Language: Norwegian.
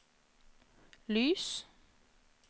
lys